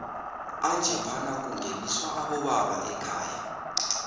anjephana kungeniswa aboba ekhaya